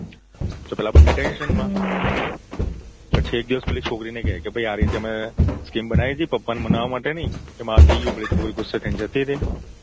તો પેલા બંને tension માં પછી એક દિવસ છોકરીને કે ભઈ આ રીતે અમે એક skim બનાવી ટી પપ્પાને મનાવવા માટેની એમાં આ થઇ ગયું પેલી છોકરી ગુસ્સે થઇને જતી રઈ